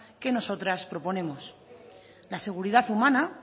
que nosotras proponemos la seguridad humana